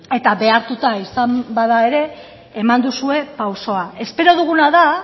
eta behartuta izan bada ere eman duzue pausua espero duguna da